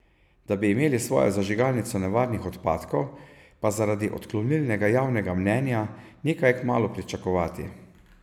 Da bi imeli svojo zažigalnico nevarnih odpadkov, pa zaradi odklonilnega javnega mnenja ni kaj kmalu pričakovati.